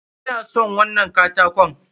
Ina son wannan katakon.